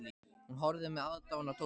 Hún horfði með aðdáun á Tóta.